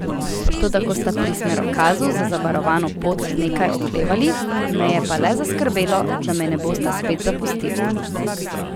Toda ko sta pri smerokazu za zavarovano pot nekaj oklevali, me je pa le zaskrbelo, da me ne bosta spet zapustili.